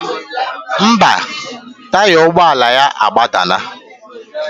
Ḿbà, taya ụgbọ ala ya agbadana.